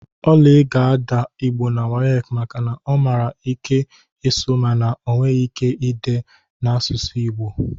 Oly ga-adaa Igbo na WAEC maka na ọ nwere ike ịsụ mana ọ nweghị ike ide ede n'asụsụ Igbo